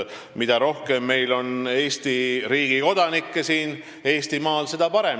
Mida rohkem on Eesti kodanikke siin Eestimaal, seda parem.